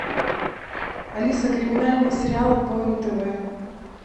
алиса криминальные сериалы по нтв